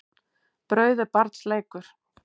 Brauð er barns leikur.